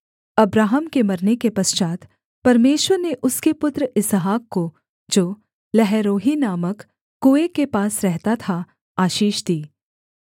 Abraham के मरने के पश्चात् परमेश्वर ने उसके पुत्र इसहाक को जो लहैरोई नामक कुएँ के पास रहता था आशीष दी